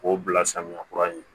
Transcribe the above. K'o bila samiya kura ye